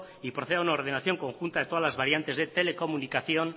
y proceda a una ordenación conjunta de todas las variantes de telecomunicación